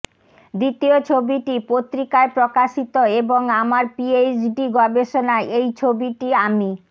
দ্বিতীয় ছবিটি পত্রিকায় প্রকাশিত এবং আমার পিএইচডি গবেষণায় এই ছবিটি আমি